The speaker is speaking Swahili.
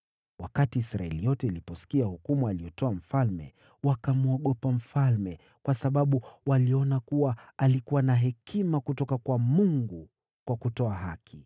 Wakati Israeli yote iliposikia hukumu aliyotoa mfalme, wakamwogopa mfalme, kwa sababu waliona kuwa alikuwa na hekima kutoka kwa Mungu kwa kutoa haki.